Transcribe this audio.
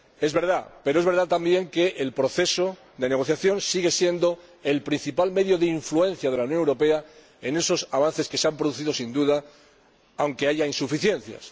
Es verdad, pero también es verdad que el proceso de negociación sigue siendo el principal medio de influencia de la Unión Europea en esos avances, que se han producido sin duda, aunque haya insuficiencias.